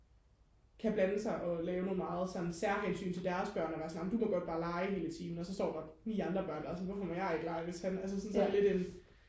kan blande sig og lave nogle meget sådan særhensyn til deres børn og være sådan amen du må gerne bare lege hele timen og så står der ni andre børn der er sådan hvorfor må jeg ikke lege hvis han så det er sådan lidt en